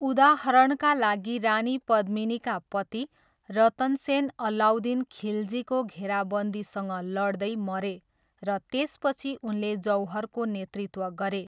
उदाहरणका लागि रानी पद्मिनीका पति रतन सेन अलाउद्दिन खिल्जीको घेराबन्दीसँग लड्दै मरे र त्यसपछि उनले जौहरको नेतृत्व गरे।